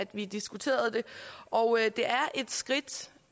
vi diskuterede det og det er et skridt